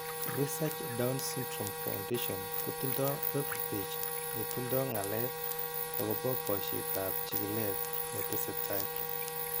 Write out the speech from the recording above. Research Down syndrome Foundation kotindo webpage ne tindo ng'alek akobo boisietap chigilet ne tesetai.